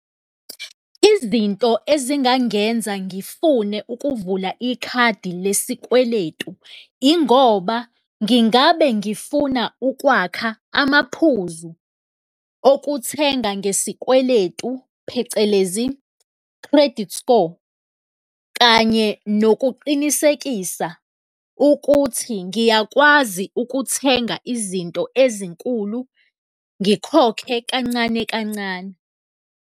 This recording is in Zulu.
Izinto ezingangenza ngifune ukuvula ikhadi lesikweletu, ingoba ngingabe ngifuna ukwakha amaphuzu okuthenga ngesikweletu, phecelezi credit score, kanye nokuqinisekisa ukuthi ngiyakwazi ukuthenga izinto ezinkulu ngikhokhe kancane kancane.